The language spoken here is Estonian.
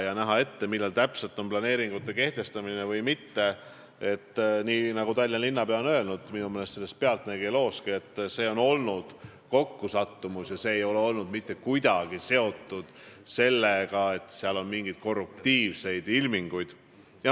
Mis puudutab seda, millal täpselt planeering kehtestatakse või mitte, siis nii nagu Tallinna linnapea on öelnud, minu meelest ütles ta seda selles "Pealtnägija" looski, see oli kokkusattumus ega olnud mitte kuidagi seotud mingite korruptiivsete ilmingutega.